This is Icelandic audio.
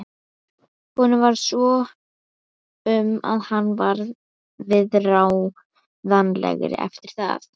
Honum varð svo um að hann varð viðráðanlegri eftir það.